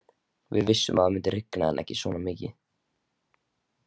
Við vissum að það myndi rigna en ekki svona mikið.